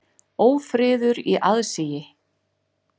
Ófriður í aðsigi.